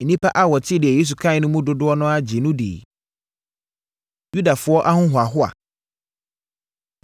Nnipa a wɔtee deɛ Yesu kaeɛ no mu dodoɔ no ara gyee no diiɛ. Yudafoɔ Ahohoahoa